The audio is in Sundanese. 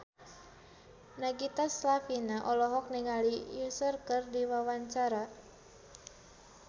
Nagita Slavina olohok ningali Usher keur diwawancara